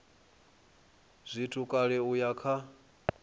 zwithu kale u ya kha